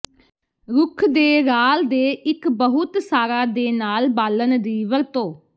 ਰੁੱਖ ਦੇ ਰਾਲ ਦੇ ਇੱਕ ਬਹੁਤ ਸਾਰਾ ਦੇ ਨਾਲ ਬਾਲਣ ਦੀ ਵਰਤੋ